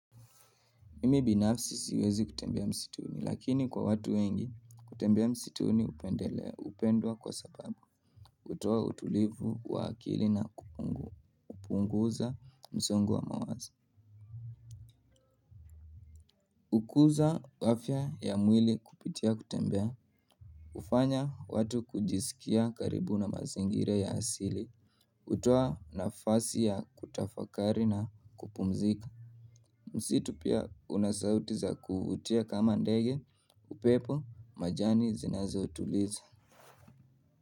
Mimi binafsi siwezi kutembea msituni lakini kwa watu wengi kutembea msituni hupendelea hupendwa kwa sababu kutoa utulivu wa akili na kupunguza msongo wa mawazo kukuza afya ya mwili kupitia kutembea kufanya watu kujisikia karibu na mazingira ya asili kutoa nafasi ya kutafakari na kupumzika msitu pia una sauti za kuutia kama ndege upepo majani zinazotuliza.